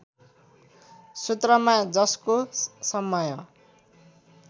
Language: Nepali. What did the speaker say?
सूत्रमा जसको समय